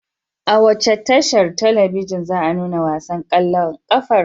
A wace tashar talabijin za a nuna wasan ƙwallon ƙafar?